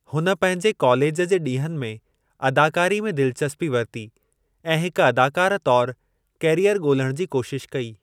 हुन पंहिंजे कालेजु जे ॾींहनि में अदाकारी में दिलचस्पी वरिती ऐं हिक अदाकार तौरु कैरीयर ॻोल्हणु जी कोशिश कई।